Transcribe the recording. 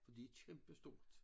For de kæmpestort